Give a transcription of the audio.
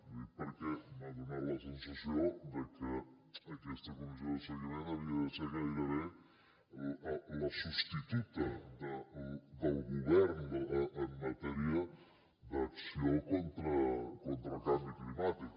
ho dic perquè m’ha donat la sensació de que aquesta comissió de seguiment havia de ser gairebé la substituta del govern en matèria d’acció contra el canvi climàtic